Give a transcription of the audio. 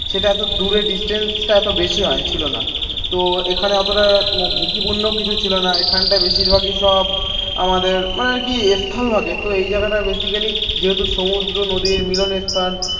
সেটা এত দূরে ডিসটেন্সটা এত বেশি হয় ছিল না. তো এখানে অতটা ঝুঁকিপূর্ণ কিছু ছিল না. এখানটায় বেশিরভাগই সব আমাদের মানে আর কি স্থলভাগে. তো এই জায়গাটা বেসিকালি যেহেতু সমুদ্র নদীর মিলনের স্থান